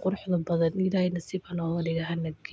horseedaan mashruucyo kobcinta dhaqaalaha.